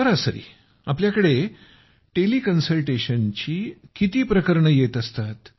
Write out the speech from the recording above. सरासरी आपल्याकडे किती टेलि कन्सल्टेशनची प्रकरणे येत असतात